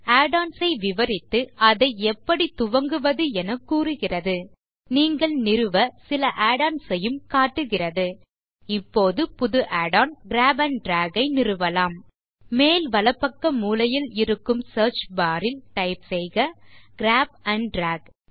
add ons ஐ விவரித்து அதை எப்படி துவங்குவது என கூறுகிறது நீங்கள் நிறுவ சில add ஒன்ஸ் ஐயும் காட்டுகிறது இப்போது புது Add on grab and drag ஐ நிறுவலாம் மேல் வலப்பக்க மூலையில் இருக்கும் சியர்ச் பார் ல் டைப் செய்க கிராப் ஆண்ட் டிராக்